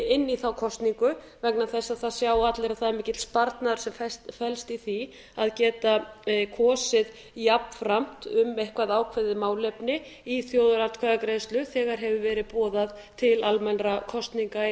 inn í þá kosningu vegna þess að það sjá allir að það er mikill sparnaður sem felst í því að geta kosið jafnframt um eitthvert ákveðið málefni í þjóðaratkvæðagreiðslu þegar boðað hefur verið til almennra kosninga í